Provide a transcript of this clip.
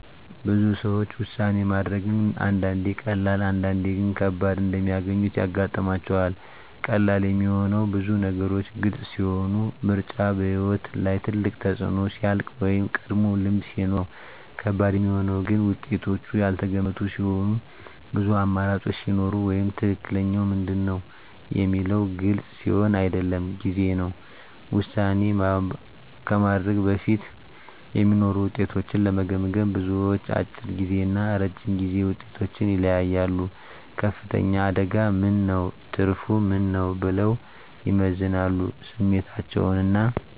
ብዙ ሰዎች ውሳኔ ማድረግን አንዳንዴ ቀላል፣ አንዳንዴ ግን ከባድ እንደሚያገኙት ያጋጥማቸዋል። ቀላል የሚሆነው ብዙ ነገሮች ግልጽ ሲሆኑ፣ ምርጫው በሕይወት ላይ ትልቅ ተፅዕኖ ሲያልቅ ወይም ቀድሞ ልምድ ሲኖር ነው። ከባድ የሚሆነው ግን ውጤቶቹ ያልተገመቱ ሲሆኑ፣ ብዙ አማራጮች ሲኖሩ ወይም “ትክክለኛው ምንድን ነው?” የሚለው ግልጽ ሲሆን አይደለም ጊዜ ነው። ውሳኔ ከማድረግ በፊት የሚኖሩ ውጤቶችን ለመገመገም፣ ብዙዎች፦ አጭር ጊዜ እና ረጅም ጊዜ ውጤቶችን ይለያያሉ “ከፍተኛ አደጋ ምን ነው? ትርፉ ምን ነው?” ብለው ይመዝናሉ ስሜታቸውን እና